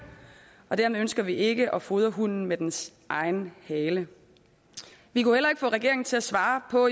og dermed ønsker vi ikke at fodre hunden med dens egen hale vi kunne heller ikke få regeringen til at svare på